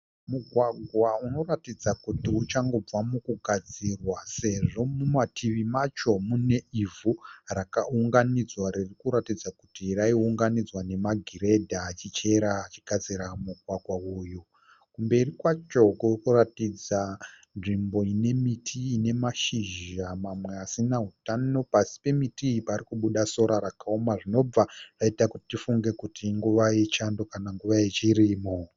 Mugwagwa unoratidza kuti uchangobva mukugadzirwa sezvo mumativi macho mune ivhu rakaunganidzwa riri kuratidza kuti rai unganidzwa nemagiredha achichera achigadzira mugwagwa uyu. Kumberi kwacho kuri kuratidza nzvimbo ine miti ine mashizha mamwe asina hutano pasi pemiti iy pari kubuda sora rakaoma zvinobva zvaita kuti tifunge kuti inguva yechando kana nguva yechirimo.